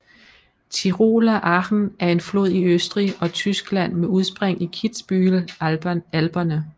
Tiroler Achen er en flod i Østrig og Tyskland med udspring i Kitzbühel Alperne